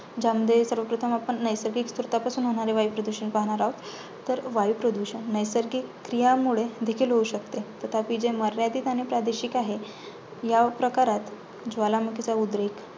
ज्यामध्ये सर्वप्रथम आपण नैसर्गिक स्त्रोतापासून होणारे वायुप्रदूषण पाहणार आहोत. तर वायुप्रदूषण नैसर्गिक क्रियांमुळे देखील होऊ शकते. तथापि जे मर्यादित आणि प्रादेशिक आहे. ह्याप्रकारात ज्वालामुखीचा उद्रेक